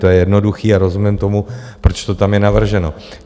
To je jednoduché a rozumím tomu, proč to tam je navrženo.